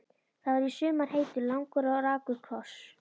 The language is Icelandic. Það var í sumar heitur, langur og rakur koss.